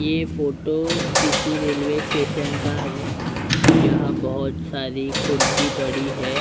ये फोटो किसी railway station का हैं जहाँ बहुत सारी खुर्ची पड़ी हैं ।